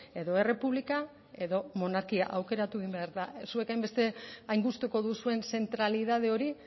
edo errepublika edo monarkia aukeratu egin behar da zuen hain gustuko duzuen zentralidade hori